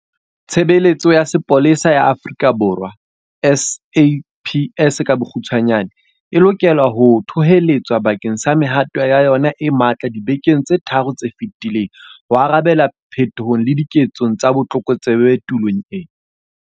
Tshebeletso ya Sepolesa ya Afrika Borwa SAPS e lokela ho thoholetswa bakeng sa mehato ya yona e matla dibekeng tse tharo tse fetileng ho arabela petong le diketsong tsa botlokotsebe tulong eo.